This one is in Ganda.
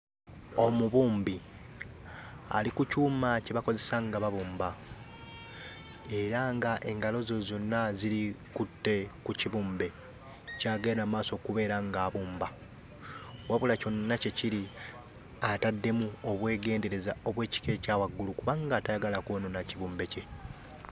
Omubumbi ali ku kyuma kye bakozesa nga babumba era ng'engalo ze zonna zikutte ku kibumbe ky'agenda mu maaso okubeera ng'abumba. Wabula kyonna kye kiri, ataddemu obwegendereza obw'ekika ekya waggulu kubanga tayagala kwonoona kibumbe kye.